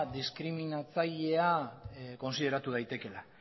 diskriminatzailea kontsideratu daitekeela